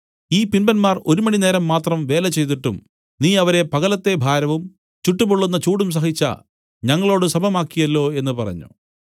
ഈ പിമ്പന്മാർ ഒരു മണിനേരം മാത്രം വേല ചെയ്തിട്ടും നീ അവരെ പകലത്തെ ഭാരവും ചുട്ടു പൊള്ളുന്ന ചൂടും സഹിച്ച ഞങ്ങളോടു സമമാക്കിയല്ലോ എന്നു പറഞ്ഞു